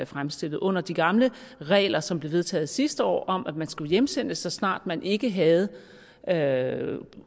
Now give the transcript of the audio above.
fremstillet under de gamle regler som blev vedtaget sidste år om at man skulle hjemsendes så snart man ikke havde havde